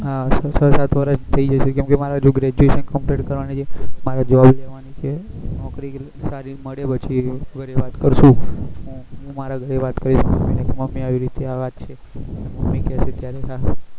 હા છ સાત વર્ષ થઇ જશે કેમકે મારે હજુ graduation complete કરવાનું છે મારે job કરવાની છે નોકરી સારી મળે પછી વાત કરશું હું મારા ઘરે વાત કરીશ કે મમી ને મમી આવી રીતે આ વાત છે મમી કે છે ત્યારે ન